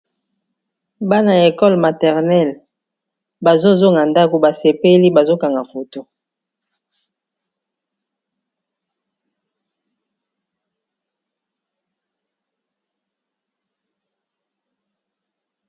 Bana ya ekole maternele. Bazo zonga ndaku, basepeli bazokanga foto.